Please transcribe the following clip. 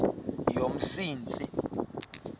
yomsintsi